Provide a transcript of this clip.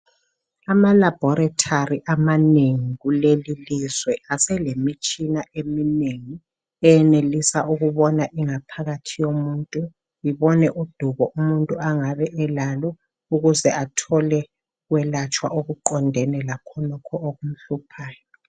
AmaLaboratory amanengi kulelilizwe, aselemitshina eminengi. Eyenelisa ikubona ingaphakathi yomuntu. Ibone udubo umuntu angabe elalo. Ukuze athole ukwelatshwa okuqondene lakhonokho okumhluphayo.